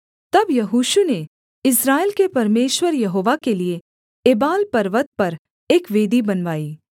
तब यहोशू ने इस्राएल के परमेश्वर यहोवा के लिये एबाल पर्वत पर एक वेदी बनवाई